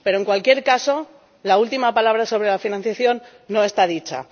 Pero, en cualquier caso, la última palabra sobre la financiación no está dicha.